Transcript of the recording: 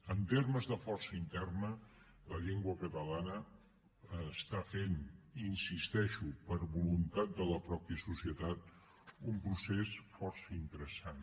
en termes de força interna la llengua catalana està fent hi insisteixo per voluntat de la pròpia societat un procés força interessant